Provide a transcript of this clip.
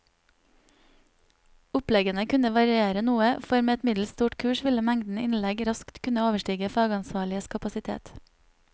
Oppleggene kunne variere noe, for med et middels stort kurs ville mengden innlegg raskt kunne overstige fagansvarliges kapasitet.